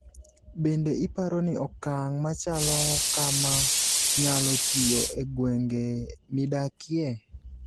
bende iparo ni okang' machalo kama nyalo tiyo e gwenge midakie?